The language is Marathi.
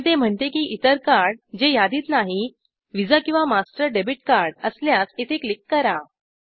पण ते म्हणते की इतर कार्ड जे यादीत नाही व्हिसा किंवा मास्टर डेबिट कार्ड असल्यास इथे क्लिक करा